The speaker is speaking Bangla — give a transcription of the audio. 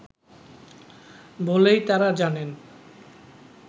বলেই তারা জানেন